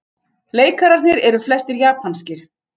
Leikararnir eru flestir japanskir